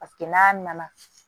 Paseke n'a nana